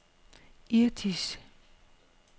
Irtish